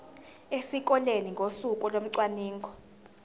esikoleni ngosuku locwaningo